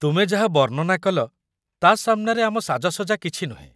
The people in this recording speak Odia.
ତୁମେ ଯାହା ବର୍ଣ୍ଣନା କଲ ତା' ସାମ୍ନାରେ ଆମ ସାଜସଜା କିଛି ନୁହେଁ ।